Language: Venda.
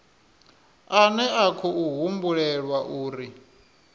ane a khou humbulelwa uri